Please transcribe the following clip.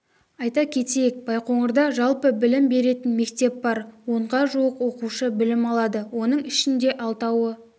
айта кетейік байқоңырда жалпы білім беретін мектеп бар онда жуық оқушы білім алады оның ішінде алтауы